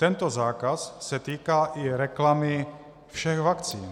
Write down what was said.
Tento zákaz se týká i reklamy všech vakcín.